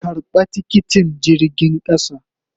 Karba tikiti jirgin kasan.